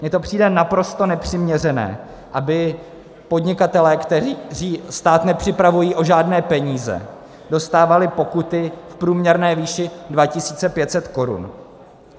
Mně to přijde naprosto nepřiměřené, aby podnikatelé, kteří stát nepřipravují o žádné peníze, dostávali pokuty v průměrné výši 2 500 korun.